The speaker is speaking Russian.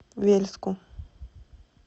вельску